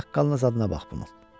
Saqqalına zadına bax bunun.